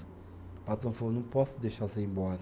O patrão falou, não posso deixar você ir embora.